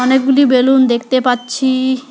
অনেকগুলি বেলুন দেখতে পাচ্ছি।